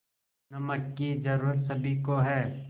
नमक की ज़रूरत सभी को है